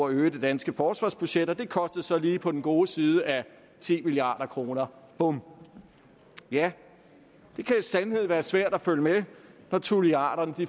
øge det danske forsvarsbudget og det kostede så lige på den gode side af ti milliard kroner bum ja det kan i sandhed være svært at følge med når tulliarderne